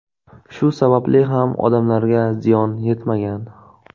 Shu sababli ham odamlarga ziyon yetmagan.